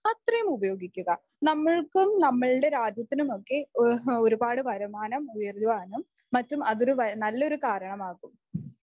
അത്രയും ഉപയോഗിക്കുക. നമ്മൾക്കും നമ്മളുടെ രാജ്യത്തിനും ഒക്കെ ഈ ഒരുപാട് വരുമാനം ഉയരുവാനും മറ്റും അതൊരു നല്ല ഒരു കാരണമാകും.